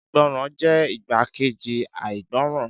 Ìgbọràn jẹ́ igbákejì àìgbọràn